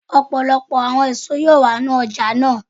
Ọpọlọpọ awọn eso yoo wa ni ọja naa.